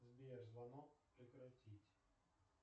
сбер звонок прекратить